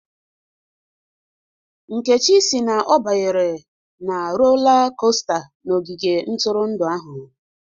Nkechi si na ọ banyere na rola kosta n'ogige ntụrụndụ ahụ